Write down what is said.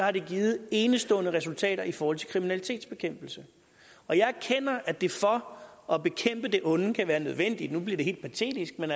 at det har givet enestående resultater i forhold til kriminalitetsbekæmpelse og jeg erkender at det for at bekæmpe det onde kan være nødvendigt nu bliver det helt patetisk at